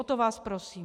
O to vás prosím.